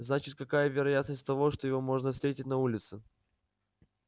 значит какая вероятность того что его можно встретить на улице